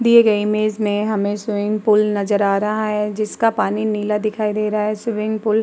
दिए गए इमेज में हमें स्विमिंग पूल नजर आ रहा है जिसका पानी नीला दिखाई दे रहा है। Swimming pool --